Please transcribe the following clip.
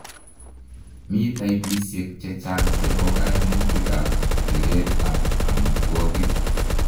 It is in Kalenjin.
Mi taipisiek chechang' chebo koimutuk ab bireet ab omitwigik